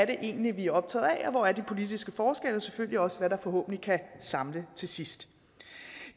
det egentlig er vi er optaget af og hvor de politiske forskelle er og selvfølgelig også hvad der forhåbentlig kan samle til sidst